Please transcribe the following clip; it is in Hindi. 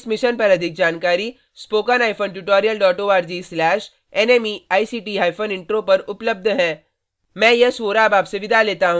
इस मिशन पर अधिक जानकारी